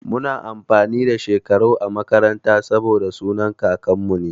Muna amfani da Shekarau a makaranta saboda sunan kakanmu ne.